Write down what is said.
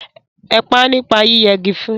Ẹ pá nípa yí yẹ gi fun!